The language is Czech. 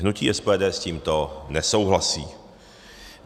Hnutí SPD s tímto nesouhlasí.